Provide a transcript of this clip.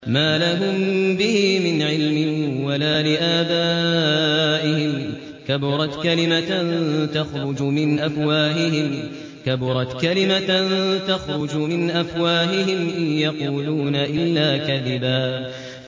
مَّا لَهُم بِهِ مِنْ عِلْمٍ وَلَا لِآبَائِهِمْ ۚ كَبُرَتْ كَلِمَةً تَخْرُجُ مِنْ أَفْوَاهِهِمْ ۚ إِن يَقُولُونَ إِلَّا كَذِبًا